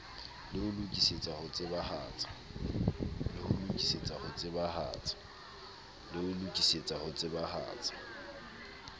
le ho lokisetsa ho tsebahatsa